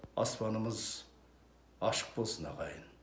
аспанымыз ашық болсын ағайын